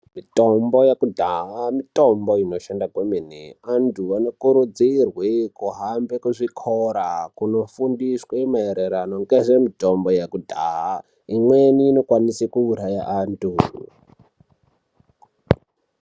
Mutombo yekudhaya mutombo inoshanda kwemene antu anokurudzirwe kuhambe kuzvikora kunofundiswe mairirano ngezvemutombo yekudhaya imweni inokwanise kuuraya antu.